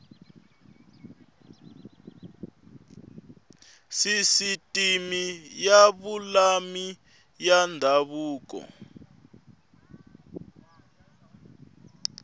sisiteme ya vululami ya ndhavuko